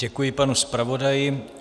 Děkuji, panu zpravodaji.